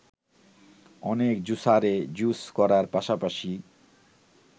অনেক জুসারে জুস করার পাশাপাশি